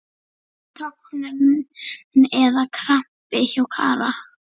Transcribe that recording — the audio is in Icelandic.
Tognun eða krampi hjá Kára?